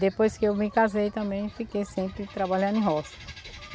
Depois que eu me casei também, fiquei sempre trabalhando em roça.